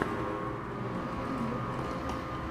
тоттенхэм ньюкасл